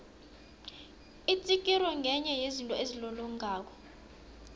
itsikiri ngenye yezinto ezilolongako